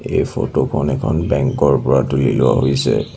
এই ফটো খন এখন বেংক ৰ পৰা তুলি লোৱা হৈছে।